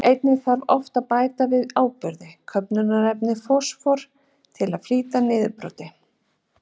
Einnig þarf oft að bæta við áburði, köfnunarefni og fosfór, til að flýta niðurbroti.